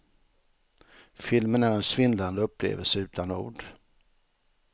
Filmen är en svindlande upplevelse utan ord.